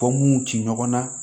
Fɔnmow ti ɲɔgɔn na